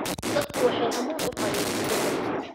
Dadku waxay u hamuun qabeen isbedel.